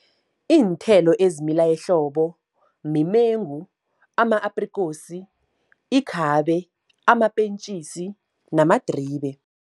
Iinthelo ezimila ehlobo, mimengu, ama-aprikosi, ikhabe, amapentjisi, namadribe.